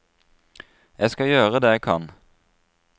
Jeg skal gjøre det jeg kan.